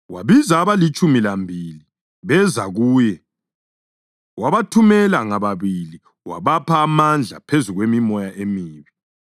Wabiza abalitshumi lambili beza kuye, wabathumela ngababili wabapha amandla phezu kwemimoya emibi.